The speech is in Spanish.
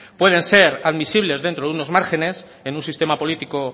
pueden ser admisibles dentro de unos márgenes en un sistema político